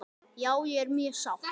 Já ég er mjög sátt.